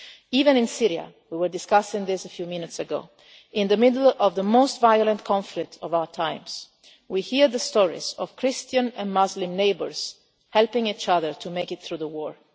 Even in Syria we were discussing this a few minutes ago in the middle of the most violent conflict of our times, we hear stories of Christian and Muslim neighbours helping each other to make it through the war.